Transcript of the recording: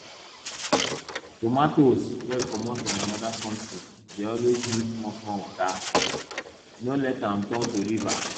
tomatoes wey comot from anoda country dey always need small small water no let am turn to river